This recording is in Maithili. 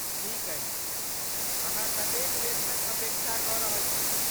ठीक अछि, अहाँ कतेक वेतनक अपेक्षा कऽ रहल छी?